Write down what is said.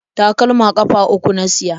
Takalma ƙafa uku na siya.